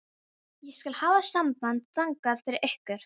Ég skal hafa samband þangað fyrir ykkur.